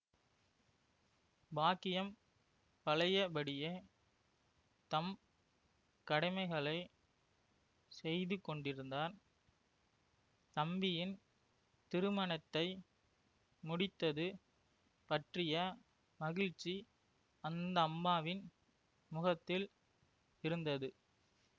பாக்கியம் பழையபடியே தம் கடமைகளை செய்துகொண்டிருந்தார் தம்பியின் திருமணத்தை முடித்தது பற்றிய மகிழ்ச்சி அந்தம்மாவின் முகத்தில் இருந்தது